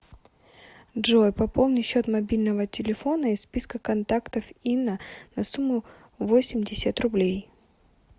джой пополни счет мобильного телефона из списка контактов инна на сумму восемьдесят рублей